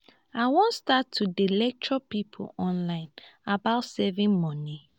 i wan start to dey lecture people online about saving money